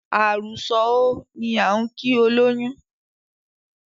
"àrù sọ̀ óò" ni á ń kìí olóyún.